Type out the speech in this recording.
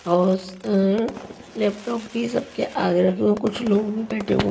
और उस अअअ लैपटॉप भी सबके आगे रखे हुए कुछ लोग भी बैठे हुए --